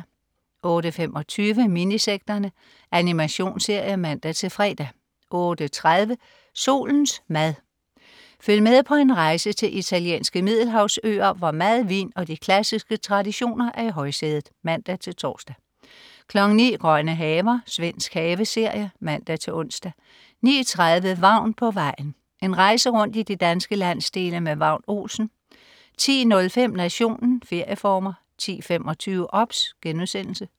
08.25 Minisekterne. Animationsserie (man-fre) 08.30 Solens mad. Følg med på en rejse til italienske middelhavsøer, hvor mad, vin og de klassiske traditioner er i højsædet (man-tors) 09.00 Grønne haver. Svensk haveserie (man-ons) 09.30 Vagn på vejen. En rejse rundt i de danske landsdele med Vagn Olsen 10.05 Nationen. Ferieformer 10.25 OBS*